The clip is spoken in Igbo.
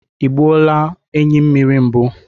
I gbuo la enyi mmiri mbụ?